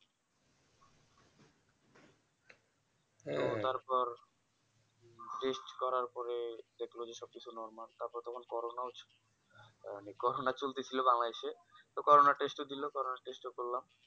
তারপর Test করার পরে দেখলো যে সবকিছু Normal তারপর তখন Corona ও ছিল তাই অনেক Corona চলতেছিল Bangladesh এ তো Corona test ও দিলো Corona test ও করলাম